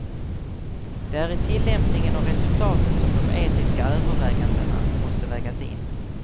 Det är i tillämpningen och resultaten som de etiska övervägandena måste vägas in.